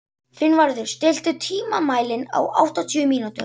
Finnvarður, stilltu tímamælinn á áttatíu mínútur.